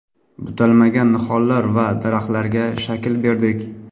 Butalmagan nihollar va daraxtlarga shakl berdik.